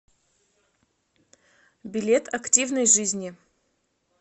билет активной жизни